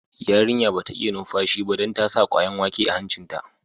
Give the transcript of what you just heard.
Yarinya ba ta iya numfashi ba dan ta sa kwayan wake a hancin ta.